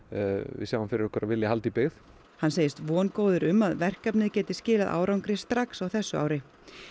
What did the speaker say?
við sjáum fyrir okkur að vilja halda í byggð hann segist vongóður um að verkefnið geti skilað árangri strax á þessu ári